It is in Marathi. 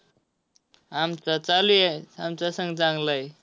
आमचा चालू आहे. आमचा संघ चांगला आहे.